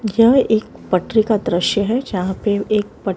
यह एक पटरी का दृश्य है जहां पे एक पट--